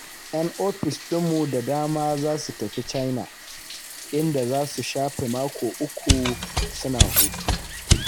‘Yan ofis ɗinmu da dama za su tafi China, inda za su shafe mako uku suna hutu.